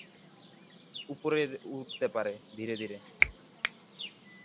উপরে উঠতে পারে ধীরে ধীরে.